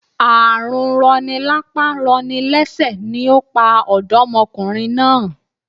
Ààrùn rọni lápá rọni lẹ́sẹ̀ ni ó pa òdọ́mokùnrin náà